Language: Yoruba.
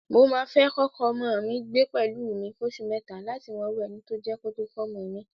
Mo máa fẹ́ kọ́kọ ọmọ mi gbé pẹ̀lú mi fóṣù mẹ́ta láti mọrú ẹni tó jẹ́ kó tó fọ́mọ mi.